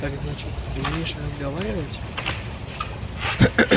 так значит умеешь разговаривать